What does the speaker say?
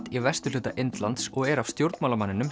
í vesturhluta Indlands og er af stjórnmálamanninum